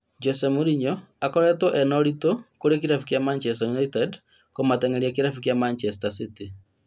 Jose Mourinho, ĩkũretwo ĩnaũritũ kũrĩ kĩrabu gĩa Manchester United kũmateng'eria kĩrabu kĩa Manchester City